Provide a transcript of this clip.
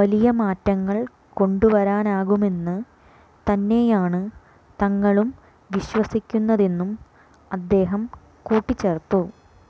വലിയ മാറ്റങ്ങൾ കൊണ്ടുവരാനാകുമെന്ന് തന്നെയാണ് തങ്ങളും വിശ്വസിക്കുന്നതെന്നും അദ്ദേഹം കൂട്ടിച്ചേർത്തു